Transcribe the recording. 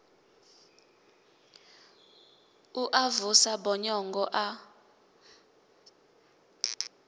u a vusa bonyongo a